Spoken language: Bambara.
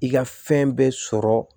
I ka fɛn bɛɛ sɔrɔ